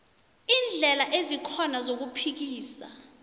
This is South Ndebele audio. iindlela ezikhona zokuphikisa